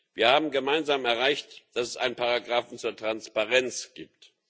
Wir haben gemeinsam erreicht, dass es einen Paragrafen zur Transparenz gibt.